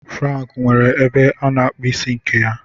Frank nwere ebe a na-akpụ isi nke a.